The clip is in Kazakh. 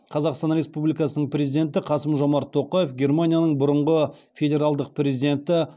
қазақстан республикасының президенті қасым жомарт тоқаев германияның бұрынғы федералдық президенті